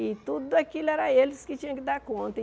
E tudo aquilo era eles que tinham que dar conta.